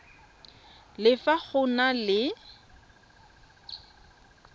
le fa go na le